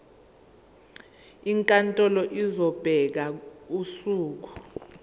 inkantolo izobeka usuku